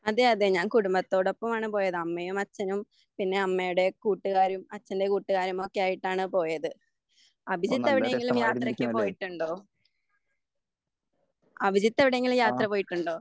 അതെ അതെ ഞാൻ കുടുംബത്തോടൊപ്പമാണ് പോയത്. അമ്മയും അച്ഛനും പിന്നെ അമ്മയുടെ കൂട്ടുകാരും അച്ഛന്റെ കൂട്ടുകാരുമൊക്കെയായിട്ടാണ് പോയത്. അഭിജിത്ത് എവിടേക്കെങ്കിലും യാത്രക്ക് പോയിട്ടുണ്ടോ? അഭിജിത്ത് എവിടെയെങ്കിലും യാത്ര പോയിട്ടുണ്ടോ?